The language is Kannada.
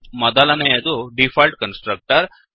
ಮೊದಲನೆಯದು ಡಿಫಾಲ್ಟ್ ಕನ್ಸ್ ಟ್ರಕ್ಟರ್